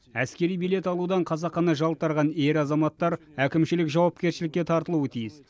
әскери билет алудан қасақана жалтарған ер азаматтар әкімшілік жауапкершілікке тартылуы тиіс